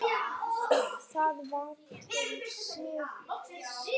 Það var til siðs.